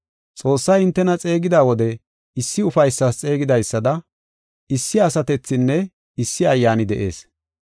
Xoossay hintena xeegida wode issi ufaysas xeegidaysada issi asatethinne issi Ayyaani de7ees.